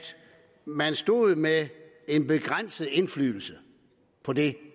man stod med en begrænset indflydelse på det